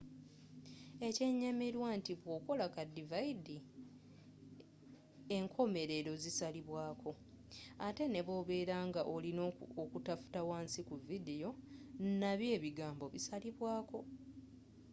ekyenyamilwa nti bwokola ka dividi enkomelelo zisalibwako ette n'ebwobela nga olina okutafuta wansi ku vidiyo nabyo ebigambo bisalibwako